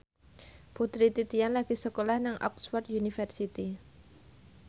Putri Titian lagi sekolah nang Oxford university